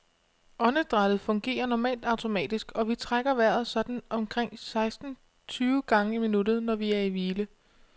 Åndedrættet fungerer normalt automatisk, og vi trækker vejret sådan omkring seksten tyve gange i minuttet, når vi er i hvile.